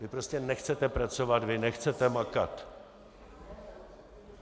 Vy prostě nechcete pracovat, vy nechcete makat.